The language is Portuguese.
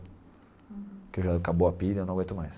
Porque já acabou a pilha, eu não aguento mais.